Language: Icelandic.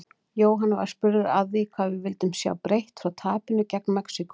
Jóhann var spurður að því hvað við vildum sjá breytt frá tapinu gegn Mexíkó?